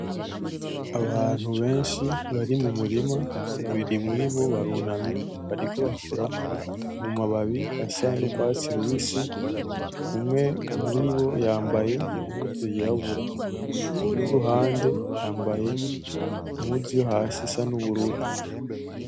Abantu benshi bari mumurima babiri muribo barunamye bariko bakora mumababi asa nurwatsi rubisi umwe muribo yambaye impuzu yirabura, uwuri iruhande yambaye impuzu yo hasi isa nubururu.